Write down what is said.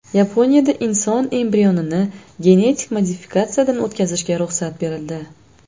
Yaponiyada inson embrionini genetik modifikatsiyadan o‘tkazishga ruxsat berildi.